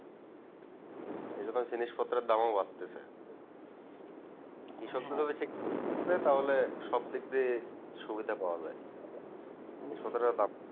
এই জন্য তো জিনিস পত্রের দাম ও বাড়তেছে কৃষকেরা যদি ঠিকঠাক থাকে তাহলে সব দিকদিয়ে সুবিধা পাওয়া যাই কৃষকরা